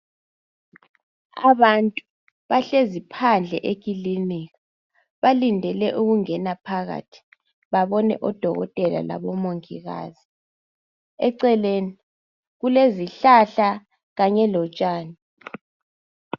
Abantu bahlezi phandle ekilinika balindele ukungena phakathi babone odokotela labomongikazi eceleni kulezihlahla kanye lotshani